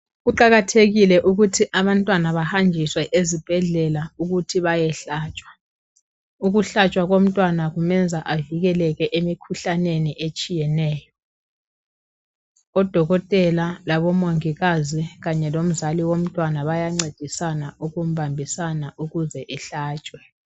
Kuqakathekile ukuthi abantwana bahanjiswe ezibhedlela ukuthi bayehlatshwa. Ukuhlatshwa komntwana kumenza avikeleke emikhuhlaneni etshiyeneyo .Odokotela labomongikazi kanye lomzali womntwana bayancedisana ukumbambisana ukuze ehlatshwe .